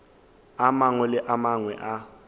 a mangwe le a mangwe